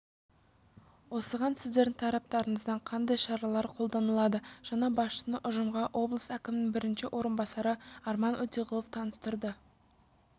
осыған сіздердің тараптарыңыздан қандай шаралар қолданылады жаңа басшыны ұжымға облыс әкімінің бірінші орынбасары арман өтеғұлов таныстырды